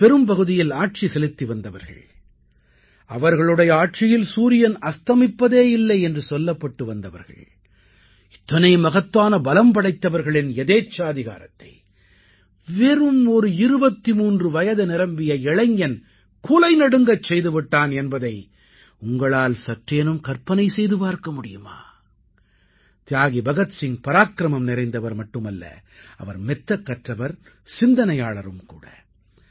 உலகின் பெரும்பகுதியில் ஆட்சி செலுத்திவந்தவர்கள் அவர்களுடைய ஆட்சியில் சூரியன் அஸ்தமிப்பதே இல்லை என்று சொல்லப்பட்டு வந்தவர்கள் இத்தனை மகத்தான பலம் படைத்தவர்களின் யதேச்சாதிகாரத்தை வெறும் ஒரு 23 வயது நிரம்பிய இளைஞன் குலைநடுங்கச் செய்துவிட்டான் என்பதை உங்களால் சற்றேனும் கற்பனை செய்து பார்க்க முடியுமா தியாகி பகத்சிங் பராக்கிரமம் நிறைந்தவர் மட்டுமல்ல அவர் மெத்தக் கற்றவர் சிந்தனையாளரும் கூட